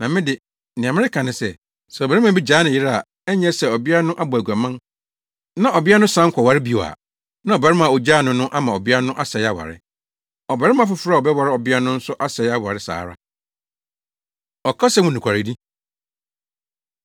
Na me de, nea mereka ne sɛ, sɛ ɔbarima bi gyaa ne yere a ɛnyɛ sɛ ɔbea no abɔ aguaman na ɔbea no san kɔware bio a, na ɔbarima a ogyaa no no ama ɔbea no asɛe aware. Ɔbarima foforo a ɔbɛware ɔbea no nso asɛe aware saa ara. Ɔkasa Mu Nokwaredi